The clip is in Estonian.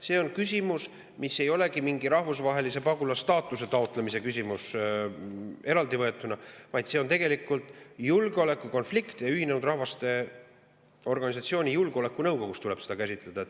See on küsimus, mis ei olegi mingi rahvusvahelise pagulasstaatuse taotlemise küsimus eraldi võetuna, vaid see on tegelikult julgeolekukonflikt ja Ühinenud Rahvaste Organisatsiooni Julgeolekunõukogus tuleb seda käsitleda.